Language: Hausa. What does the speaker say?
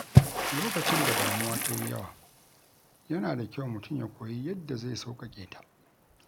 Lokacin da damuwa ta yi yawa, yana da kyau mutum ya koyi yadda zai sauƙaƙe ta.